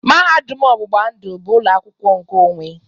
Mahadum ọgbụgba ndụ bụ ụlọ akwụkwọ nkeonwe.